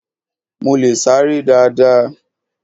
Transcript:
Mo leè sáré dáadáa